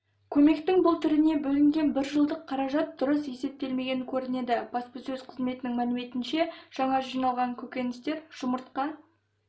көмектің бұл түріне бөлінген біржылдық қаражат дұрыс есептелмеген көрінеді баспасөз қызметінің мәліметінше жаңа жиналған көкөністер жұмыртқа